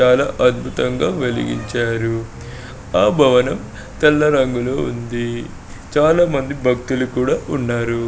చాలా అద్బుతంగా వెలిగించార. ఆ భవనం తెల్ల రంగులో ఉంది. చాలా మంది భక్తులు కూడా ఉన్నారు.